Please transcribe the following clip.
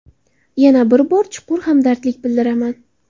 Yana bir bor chuqur hamdardlik bildiraman.